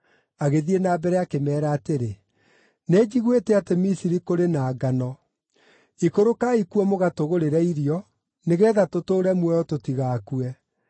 Agĩthiĩ na mbere akĩmeera atĩrĩ, “Nĩnjiguĩte atĩ Misiri kũrĩ na ngano. Ikũrũkai kuo mũgatũgũrĩre irio, nĩgeetha tũtũũre muoyo tũtigakue.”